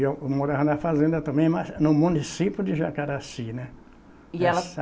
Eu morava na fazenda também, mas no município de Jacaraci, né? E ela